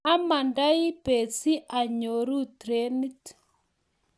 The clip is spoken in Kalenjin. amandoi bet si anyoru trenit